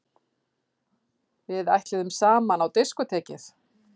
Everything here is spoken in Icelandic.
Við ætluðum saman á diskótekið!